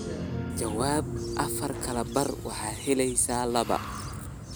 jawaab afar kala bar waxaad helaysaa laba